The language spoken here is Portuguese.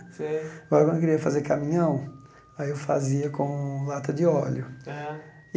Sei quando eu queria fazer caminhão, aí eu fazia com lata de óleo. Aham